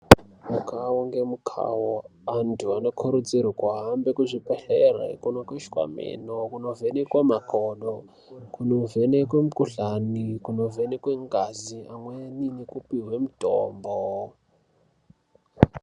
Mukavo ngemukavo antu anokurudzirwe kuhambe kuzvibhedhlere kunokweshwa mino. Kunovhenekwa makodo, kunovhenekwe mikuhlani, kunovhenekwe ngazi, amweni nekupihwe mutombo.